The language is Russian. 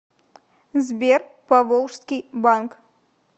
сбер поволжский банк